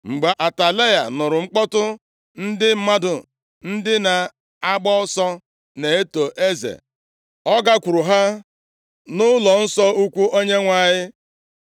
Mgbe Atalaya nụrụ mkpọtụ ndị mmadụ, ndị na-agba ọsọ na-eto eze, ọ gakwuru ha nʼụlọnsọ ukwu Onyenwe anyị.